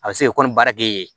A bɛ se ka kɔ ni baara kege ye yen